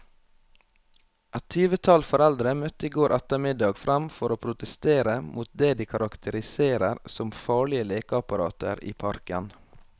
Et tyvetall foreldre møtte i går ettermiddag frem for å protestere mot det de karakteriserer som farlige lekeapparater i parken.